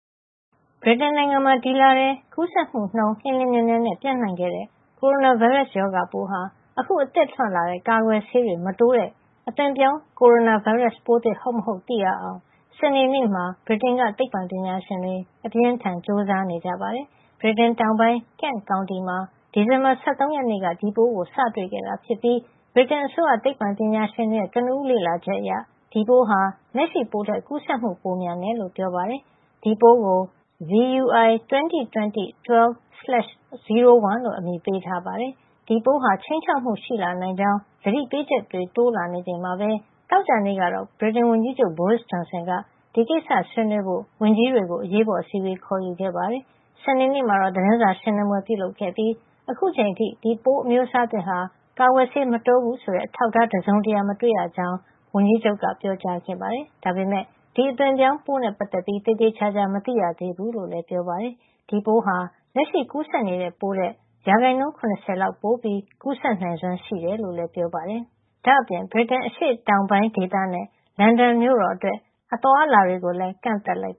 ဗြိတိန်နိုင်ငံမှာ ဒီလထဲ ကူးစက်မှုနှုန်း လျှင်လျှင်မြန်မြန်နဲ့ ပျံ့နှံ့ခဲ့တဲ့ ကိုရိုနာဗိုင်းရပ်စ် ရောဂါပိုးဟာ အခု အသစ်ထွက်လာတဲ့ ကာကွယ်ဆေးတွေ မတိုးတဲ့ အသွင်ပြောင်း ကိုရိုနာဗိုင်းရပ်စ်ပိုးသစ် ဟုတ်မဟုတ် သိရအောင် စနေနေ့က ဗြိတိန်က သိပ္ပံပညာရှင်တွေ အပြင်းအထန် ကြိုးစားနေကြပါတယ်။ ဗြိတိန်တောင်ပိုင်း Kent ကောင်တီမှာ ဒီဇင်ဘာလ ၁၃ ရက်နေ့က ဒီပိုးကို စတွေ့ခဲ့တာဖြစ်ပြီး ဗြိတိန်အစိုးရ သိပ္ပံပညာရှင်တွေရဲ့ ကနဦးလေ့လာချက်အရ ဒီပိုးဟာ လက်ရှိပိုးထက် ကူးစက်မှု ပိုမြန်တယ်လို့ ပြောပါတယ်။ ဒီ အသွင်ပြောင်းပိုးကို VUI-202012/01 လို့ အမည်ပေးထားပါတယ်။ ဒီပိုးဟာ ခြိမ်းခြောက်မှုရှိလာနိုင်ကြောင်း သတိပေးချက်တွေ တိုးလာချိန်မှာပဲ သောကြာနေ့ကတော့ ဗြိတိန်ဝန်ကြီးချုပ် Boris Johnson ဒီကိစ္စကို ဆွေးနွေးဖို့ ဝန်ကြီးတွေကို အရေးပေါ်အစည်းအဝေး ခေါ်ယူခဲ့ပါတယ်။ စနေနေ့မှာတော့ သတင်းစာရှင်းလင်းပွဲ ပြုလုပ်ခဲ့ပြီး အခုချိန်အထိ ဒီပိုးအမျိုးအစားသစ်ဟာ ကာကွယ်ဆေး မတိုးဘူးဆိုတဲ့ အထောက်အထား တစုံတရာ မတွေ့ရကြောင်း ဝန်ကြီးချုပ်က ပြောကြားခဲ့ပါတယ်။ ဒါပေမယ့် ဒီအသွင်ပြောင်းပိုးနဲ့ ပတ်သက်ပြီး အခုထိ သေသေချာချာ မသိရသေးဘူးလို့လည်း ပြောပါတယ်။ ဒီအသွင်ပြောင်းပိုးဟာ လက်ရှိကူးစက်နေတဲ့ ပိုးထက် ၇၀ ရာခိုင်နှုန်းလောက် ပိုကူးစက်နိုင်စွမ်းရှိကြောင်း ပြောပါတယ်။ ဒါ့အပြင် ဗြိတိန် အရှေ့တောင်ပိုင်းဒေသနဲ့ လန်ဒန်မြို့အတွက် အသွားအလာ ကန့်သတ်လိုက်